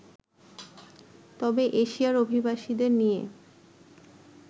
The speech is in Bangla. তবে এশিয়ার অভিবাসীদের নিয়ে